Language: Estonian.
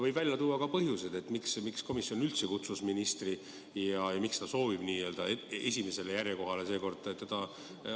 Võin välja tuua ka põhjuse, miks komisjon üldse kutsus ministri ja miks ta soovib n-ö esimesele järjekohale asetada seekord just tema.